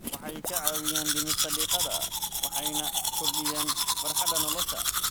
Waxay kaa caawiyaan dhimista diiqada waxayna kordhiyaan farxadda nolosha.